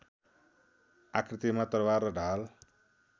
आकृतिमा तरबार र ढाल